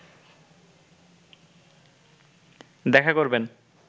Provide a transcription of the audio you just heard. দেখা করবেন